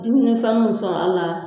Dumunifɛnninw sɔrɔ a la